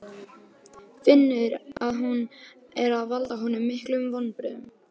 Finnur að hún er að valda honum miklum vonbrigðum.